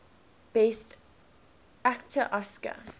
best actor oscar